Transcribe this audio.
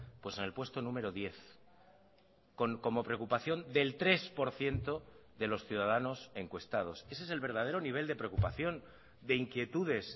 pues en el puesto número diez como preocupación del tres por ciento de los ciudadanos encuestados ese es el verdadero nivel de preocupación de inquietudes